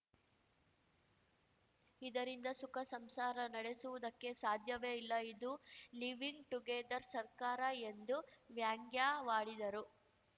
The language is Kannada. ಇದರಿಂದ ಸುಖ ಸಂಸಾರ ನಡೆಸುವುದಕ್ಕೆ ಸಾಧ್ಯವೇ ಇಲ್ಲ ಇದು ಲಿವಿಂಗ್‌ ಟುಗೆದರ್‌ ಸರ್ಕಾರ ಎಂದು ವ್ಯಾಂಗ್ಯವಾಡಿದರು